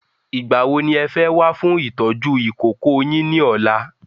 Ìgbà wo ní ẹ fẹ́ wá fún ìtọ́jú ìkókó yin ni ọ̀la?